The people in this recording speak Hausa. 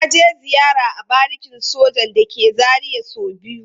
Na je ziyara a barikin sojan da ke Zaria so biyu.